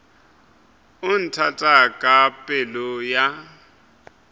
o nthata ka pelo ya